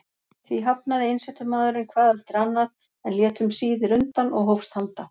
Því hafnaði einsetumaðurinn hvað eftir annað, en lét um síðir undan og hófst handa.